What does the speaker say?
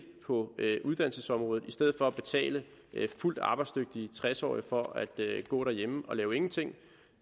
på uddannelsesområdet i stedet for at betale fuldt arbejdsdygtige tres årige for at gå derhjemme og lave ingenting